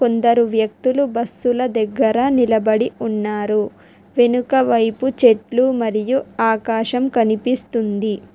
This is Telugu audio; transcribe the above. కొందరూ వ్యక్తులు బస్సుల దగ్గర నిలబడి ఉన్నారు వెనుక వైపు చెట్లు మరియు ఆకాశం కనిపిస్తుంది.